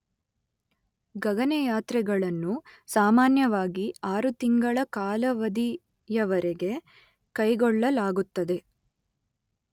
ಗಗನಯಾತ್ರೆಗಳನ್ನು ಸಾಮಾನ್ಯವಾಗಿ ಆರುತಿಂಗಳ ಕಾಲಾವಧಿಯವರೆಗೆ ಕೈಗೊಳ್ಳಲಾಗುತ್ತದೆ.